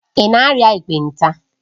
Ị na-arịa ekpenta?